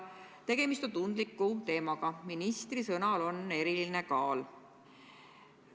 Tegemist on tundliku teemaga, ministri sõnal on eriline kaal.